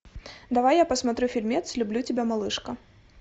давай я посмотрю фильмец люблю тебя малышка